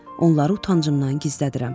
Onları utancımdan gizlədirəm.